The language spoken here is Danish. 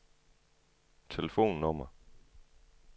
telefonnummer